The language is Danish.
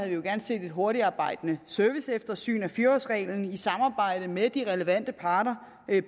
jo gerne set et hurtigt arbejde med et serviceeftersyn af fire årsreglen i samarbejde med de relevante parter